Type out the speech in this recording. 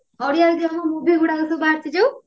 ଓଡିଆ ରେ ଯୋଉ movie ଗୁଡାକ ସବୁ ଆସିଛୁ